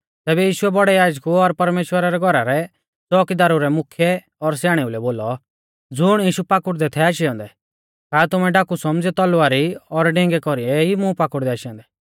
तैबै यीशुऐ बौड़ै याजकु और परमेश्‍वरा रै घौरा रै च़ोकीदारु रै मुख्यै और स्याणेऊ लै बोलौ ज़ुण यीशु पाकुड़दै थै आशै औन्दै का तुमै डाकु सौमझ़ियौ तलवारी और डिंगै कौरीऐ ई मुं पाकुड़दै आशै औन्दै